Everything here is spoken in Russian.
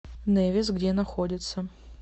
невис где находится